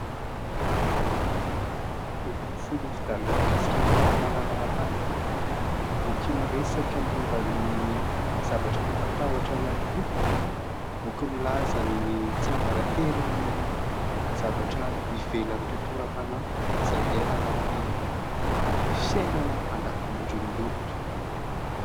Boky mifono mikasika ny fahalalana aram-panahy. Boky miresaka momba ny zavatra mampatahotra ihany koa. Boky milaza ny tsy ambaratelon'ny zavatra hivelan'ny tontolo aram-panahy izay iainana amin'ny fiainana andavan'andro ny olona.